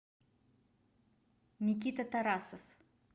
никита тарасов